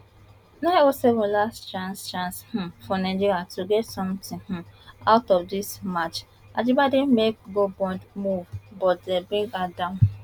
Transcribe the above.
nine oh seven last chance chance um for nigeria to get something um out of dis match ajibade make goal bound move but dem bring her down